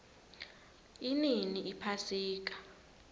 inini iphasika